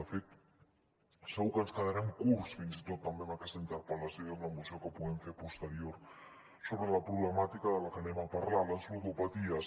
de fet segur que ens quedarem curts fins i tot amb aquesta interpel·lació i amb la moció que puguem fer posterior sobre la problemàtica que anem a parlar les ludopaties